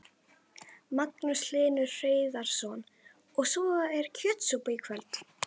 Magnús Hlynur Hreiðarsson: Og svo er kjötsúpa í kvöld?